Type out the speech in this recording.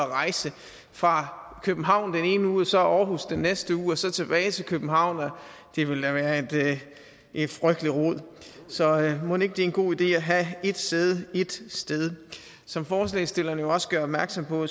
rejse fra københavn den ene uge og så aarhus den næste uge og så tilbage til københavn det ville da være et frygteligt rod så mon ikke det er en god idé at have ét sæde ét sted som forslagsstillerne jo også gør opmærksom på